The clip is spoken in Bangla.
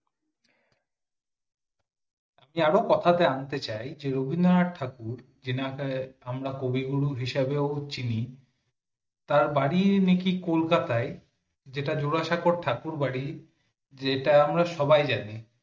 আন্তে চাই রবীন্দ্রনাথ ঠাকুর যে নামটা আমরা কবিগুরু হিসাবেও চিনি তার বাড়ি নাকি কলকাতায় যেটা জোড়াসাঁকোর ঠাকুর বাড়ি যেটা আমরা সবাই জানি